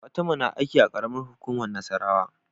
Fatima na aiki a karamar hukumar nassarawa